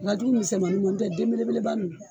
O ka jugu misɛmaninw ma n'o tɛ den belebeleba ninnu